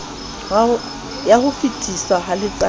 ya ho fetiswa ha letsatsai